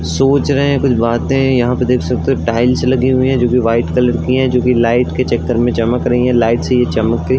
सोच रहे हैं कुछ बाते यहाँ पे देख सकते हो टाइल्स लगी हुई हैं जोकि व्हाइट कलर की हैं जोकि लाइट के चक्कर में चमक रही हैं। लाइट से ये चमक के --